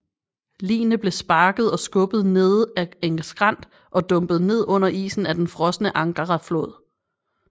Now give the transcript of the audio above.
Ligene blev sparket og skubbet nede ad en skrænt og dumpet ned under isen af den frosne Angara flod